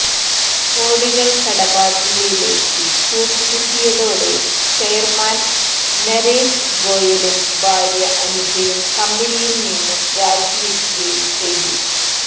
കോടികൾ കടബാധ്യതയിലേക്ക് കൂപ്പുകുത്തിയതോടെ ചെയർമാൻ നരേഷ് ഗോയലും ഭാര്യ അനിതയും കമ്പനിയിൽനിന്ന് രാജിവയ്ക്കുകയും ചെയ്തു